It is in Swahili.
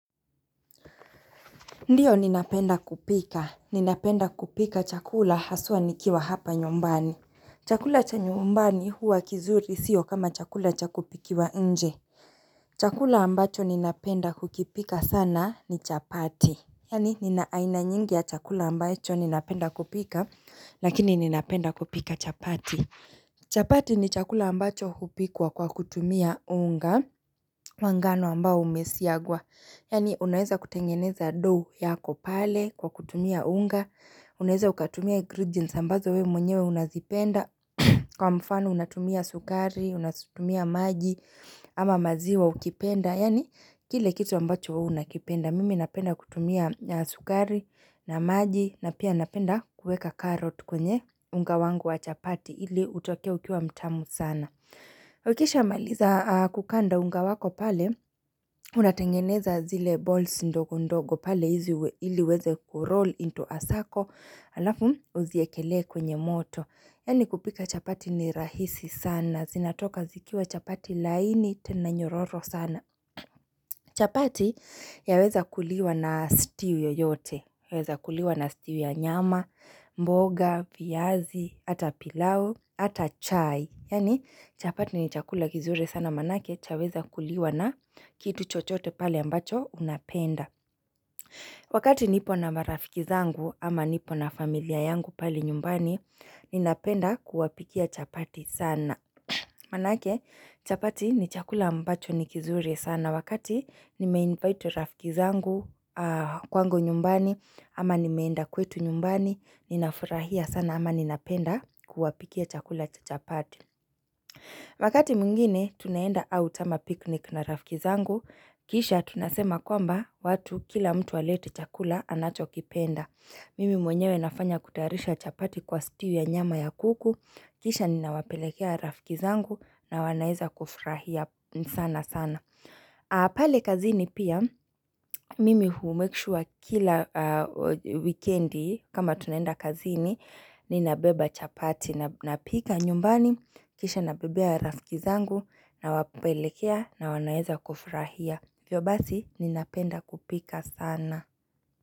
Ndiyo ninapenda kupika, ninapenda kupika chakula haswa nikiwa hapa nyumbani Chakula cha nyumbani huwa kizuri siyo kama chakula cha kupikiwa nje Chakula ambacho ninapenda kukipika sana ni chapati Yaani nina aina nyingi ya chakula ambacho ninapenda kupika Lakini ninapenda kupika chapati chapati ni chakula ambacho hupikwa kwa kutumia unga wa ngano ambao umesiagwa Yaani unaeza kutengeneza dough yako pale kwa kutumia unga Unaeza ukatumia ingredients ambazo we mwenyewe unazipenda Kwa mfano unatumia sukari, unatumia maji ama maziwa ukipenda Yaani kile kitu ambacho huwa unakipenda Mimi napenda kutumia sukari na maji na pia napenda kueka carrot kwenye unga wangu wa chapati ili utoke ukiwa mtamu sana Ukisha maliza kukanda unga wako pale unatengeneza zile balls ndogo ndogo pale hizi ili weze kuroll into a circle Alafu uziekele kwenye moto Yaani kupika chapati ni rahisi sana zinatoka zikiwa chapati laini tena nyororo sana chapati yaweza kuliwa na stew yote Yaweza kuliwa na stew ya nyama, mboga, viazi, ata pilau, ata chai Yaani chapati ni chakula kizuri sana manake chaweza kuliwa na kitu chochote pale ambacho unapenda Wakati nipo na marafiki zangu ama nipo na familia yangu pale nyumbani ninapenda kuwapikia chapati sana Manake chapati ni chakula ambacho ni kizuri sana wakati nimeinvite rafiki zangu kwangu nyumbani ama nimeenda kwetu nyumbani ninafurahia sana ama ninapenda kuwapikia chakula cha chapati Wakati mwingine, tunaenda out ama picnic na rafiki zangu, kisha tunasema kwamba watu kila mtu alete chakula anachokipenda. Mimi mwenyewe nafanya kutayarisha chapati kwa stew nyama ya kuku, kisha ninawapelekea rafiki zangu na wanaeza kufurahia sana sana. Pale kazini pia mimi humake sure kila wikendi kama tunenda kazini ninabeba chapati napika nyumbani kisha nabebea rafiki zangu nawapelekea na wanaeza kufurahia. Hivyo basi ninapenda kupika sana.